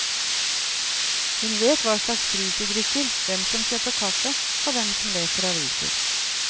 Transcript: Hun vet hva slags brus de drikker, hvem som kjøper kaffe og hvem som leser aviser.